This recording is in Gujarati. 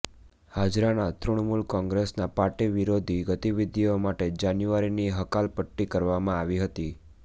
હાજરાના તૃણમુલ કોંગ્રેસનાં પાર્ટી વિરોધી ગતિવિધિઓ માટે જાન્યુઆરીની હકાલપટ્ટી કરવામાં આવી હતી